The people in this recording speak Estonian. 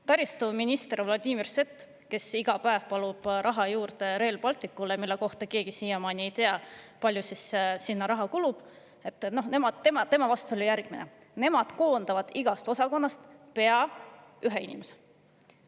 Taristuminister Vladimir Svet, kes iga päev palub raha juurde Rail Balticule, mille kohta keegi siiamaani ei tea, kui palju sinna raha kulub – tema vastus oli järgmine: nemad koondavad igast osakonnast pea ühe inimese.